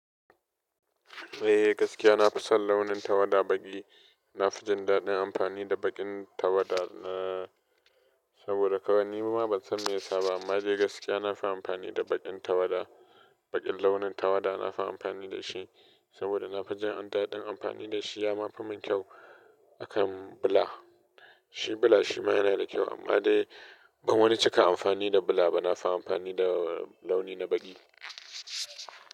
Eh, gaskiya na fi son launin tawada baƙi. Na fi jin daɗin amfani da baƙin tawada na. Saboda kawai ni ma ban san meya sa ba amma dai gaskiya na fi amfani da baƙin tawada. Baƙin launin tawada na fi amfani da shi saboda na fi jin adadin amfani da shi, ya ma fi min kyau akan bula. Shi bula shi ma yana da kyau amma dai ban wani ceka amfani da bula ba. Na fi amfani da launi na baƙi.